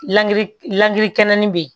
Langilikɛnɛnin bɛ yen